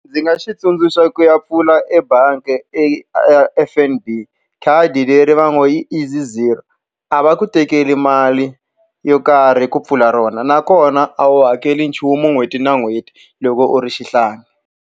Ndzi nga xi tsundzuxa ku ya pfula ebangi F_N_B. Khadi leri va ngo i Easy Zero. A va ku tekeli mali yo karhi ku pfula rona, nakona a wu hakeli nchumu n'hweti na n'hweti loko u ri xihlangi.